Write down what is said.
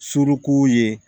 Suruku ye